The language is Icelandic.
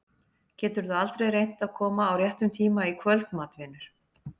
Geturðu aldrei reynt að koma á réttum tíma í kvöldmat, vinur?